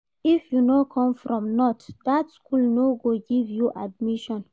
If you no come from north, dat skool no go give you admission.